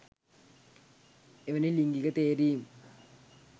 එවැනි ලිංගික තේරීම්